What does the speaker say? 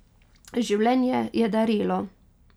Življenje je darilo.